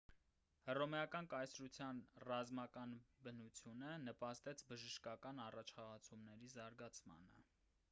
հռոմեական կայսրության ռազմական բնությունը նպաստեց բժշկական առաջխաղացումների զարգացմանը